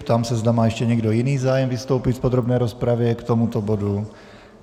Ptám se, zda má ještě někdo jiný zájem vystoupit v podrobné rozpravě k tomuto bodu.